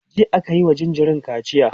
jiya akayi wa jinjirin kaciya